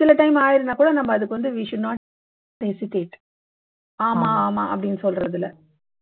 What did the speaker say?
சில time ஆயிருந்தா கூட நம்ம அதுக்கு வந்து we should not hesitate ஆமா ஆமா அப்படீன்னு சொல்றதுல